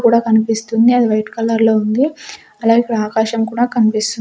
కూడా కనిపిస్తుంది అది వైట్ కలర్ లో ఉంది అలాగే ఇక్కడ ఆకాశం కూడా కనిపిస్--